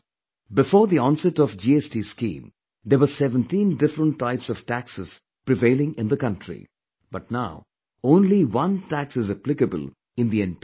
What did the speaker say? Before the onset of GST scheme, there were 17 different types of taxes prevailing in the country, but now only one tax is applicable in the entire country